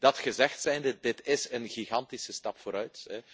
blijft. Dat gezegd zijnde dit is een gigantische stap vooruit.